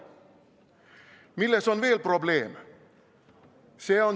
Milles on veel probleem?